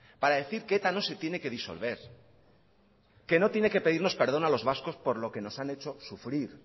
para decir que eta no se tiene que disolver que no tiene que pedirnos perdón a los vascos por lo que nos han hecho sufrir